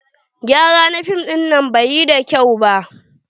Gyara na fim dinnan bai yi da kyau ba.